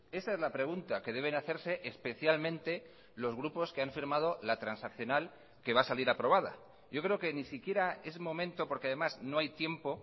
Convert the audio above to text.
esa es la pregunta que deben hacerse especialmente los grupos que han firmado la transaccional que va a salir aprobada yo creo que ni siquiera es momento porque además no hay tiempo